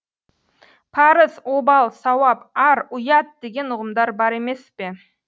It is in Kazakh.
парыз обал сауап ар ұят деген ұғымдар бар емес пе